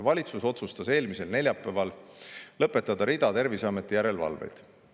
Valitsus otsustas eelmisel neljapäeval lõpetada rida Terviseameti järelevalveid.